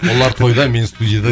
олар тойда мен студияда